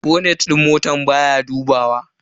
Bonet din motan baya buduwa.